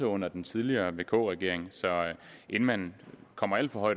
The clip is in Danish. under den tidligere vk regering så inden man kommer alt for